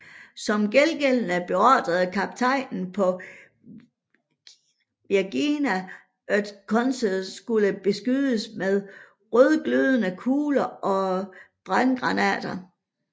Som gengældelse beordrede kaptajnen på Virginia at Congress skulle beskydes med rødglødende kugler og brandgranater